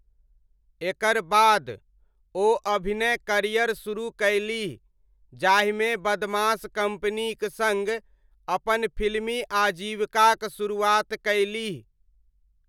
एकर बाद, ओ अभिनय करियर शुरू कयलीह, जाहिमे बदमाश कम्पनीक सङ्ग अपन फिल्मी आजीविकाक शुरुआत कयलीह।